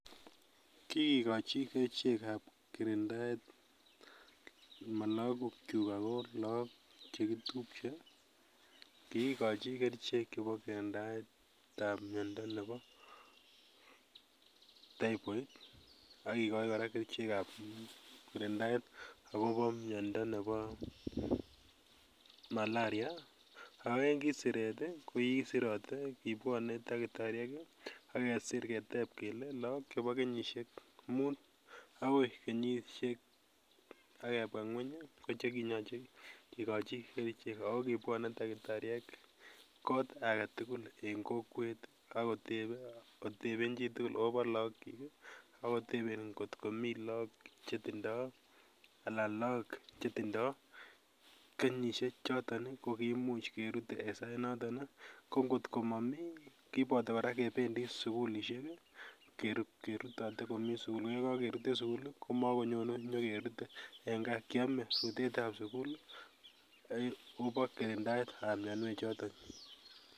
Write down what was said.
Kikikochi kerichekab kirindaet mo lokokyuk ako lakoko chekitupche, kikikochi kerichek chebo kirindaetab miando nebo, Typhoid, akikochi kora kerichekab kirindaet akobo miando nebo malaria, ako ki en siret ii kibwone daktariek akesir keteb kele laak chebo kenyisiek mut akoi kenyisiek ,akebwa ngweny ko chekiyoche kikochi kerichek ako kibwonee daktariek kot agetugul en kokwet akotebe koteben chitugul akopo laakyik, akoteben ngot komii laak chetindoo alan laak chetindoo kenyisiechoton ii koimuch kerut en sainoton ii, ko ngot komomii kiboto kora kebendi sugulisiek kerutote komii sugul koyekokerut komii sugul, komokonyene inyokerute en gaa, kiame rutetab sugul ubak en taitab mianwechoton.